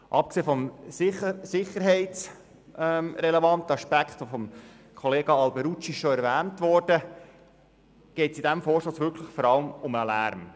Abgesehen vom Sicherheitsaspekt, den Grossrat Alberucci erwähnt hat, geht es in diesem Vorstoss wirklich nur um den Lärm.